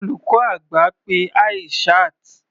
Olùkọ́ àgbà pe Aishat.